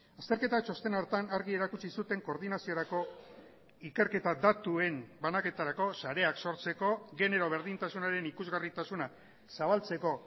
azterketa txosten horretan argi erakutsi zuten koordinaziorako ikerketa datuen banaketarako sareak sortzeko genero berdintasunaren ikusgarritasuna zabaltzeko